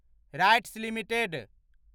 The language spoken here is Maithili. rights limited